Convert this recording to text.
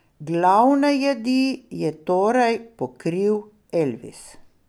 Glavne jedi je torej pokril Elvis.